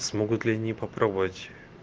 смогут ли они попробовать